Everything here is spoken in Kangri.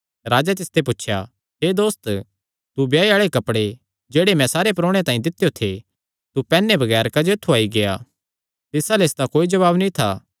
राजैं तिसते पुछया हे दोस्त तू ब्याये आल़े कपड़े जेह्ड़े मैं सारे परोणेयां तांई दित्यो थे तू पैहने बगैर ऐत्थु क्जो आई गेआ तिस अल्ल इसदा कोई जवाब नीं था